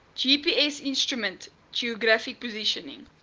gpsinstrument geographic positioning